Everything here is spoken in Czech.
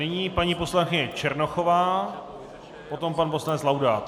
Nyní paní poslankyně Černochová, potom pan poslanec Laudát.